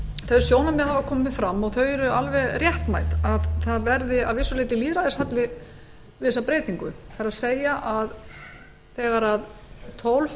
þau sjónarmið hafa komið fram og þau eru alveg réttmæt að það verði að vissu leyti lýðræðishalli við þessa breytingu það er þegar tólf